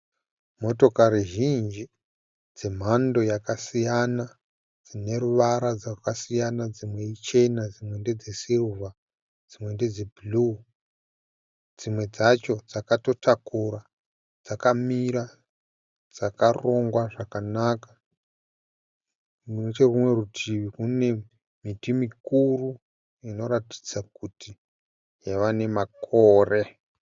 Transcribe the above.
Motokari zhinji dzemhando yakasiyana dzine ruvara dzakasiyana, dzimwe ichena, dzimwe ndedze"silver", dzimwe ndedze"blue" dzimwe dzacho dzakatotakura dzakamira dzakarongwa zvakanaka. Nechekunerumwe rutivi kune miti mikuru inoratidza kuti yava nemakore.